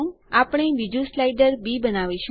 આપણે બીજું slider B બનાવીશું